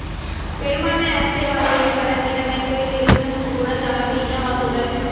பெரும்பான்மை அரசியல்வாதிகளில் பலர் நிலைமை புரிந்திருந்தும் கூட தமது இன வாக்குகள்